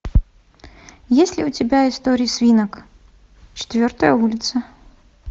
есть ли у тебя истории свинок четвертая улица